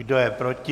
Kdo je proti?